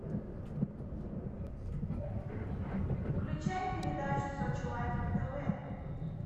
включай передачу сочи лайв на тв